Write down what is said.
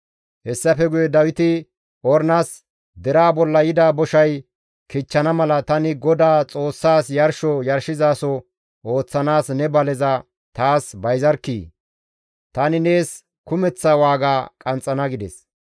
Hessafe guye Dawiti Ornas, «Deraa bolla yida boshay kichchana mala tani Godaa Xoossaas yarsho yarshizaso ooththanaas ne baleza taas bayzarkkii! Tani nees kumeththa waaga qanxxana» gides.